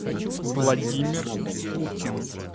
владимир путин